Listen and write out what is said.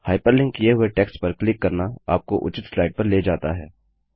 hyperlink किए हुए text पर क्लिक करना आपको उचित स्लाइड पर ले जाता है